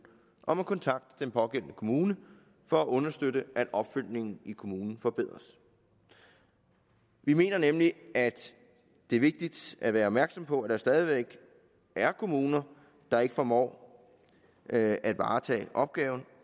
om at kontakte den pågældende kommune for at understøtte at opfølgningen i kommunen forbedres vi mener nemlig at det er vigtigt at være opmærksom på at der stadig væk er kommuner der ikke formår at at varetage opgaven